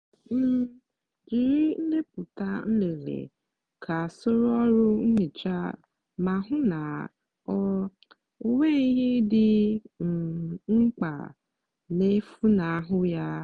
um jiri ndepụta nlele ka soro ọrụ nhicha ma hụ na ọ ọ nweghị ihe dị um mkpa na-efunahụ ya.